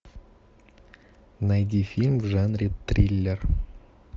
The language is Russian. найди фильм в жанре триллер